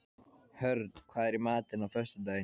Hörn, hvað er í matinn á föstudaginn?